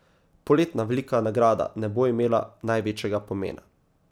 Poletna velika nagrada ne bo imela največjega pomena.